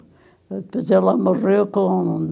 Depois ela morreu com...